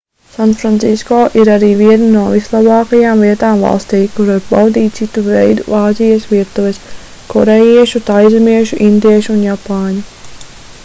sanfrancisko ir arī viena no vislabākajām vietām valstī kur var baudīt citu veidu āzijas virtuves korejiešu taizemiešu indiešu un japāņu